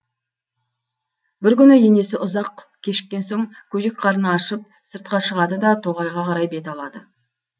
бір күні енесі ұзақ кешіккен соң көжек қарны ашып сыртқа шығады да тоғайға қарай бет алады